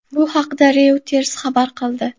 Bu haqda Reuters xabar qildi .